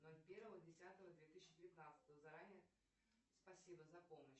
ноль первого десятого две тысячи девятнадцатого заранее спасибо за помощь